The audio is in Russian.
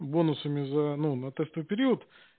бонусами за ну на тестовый период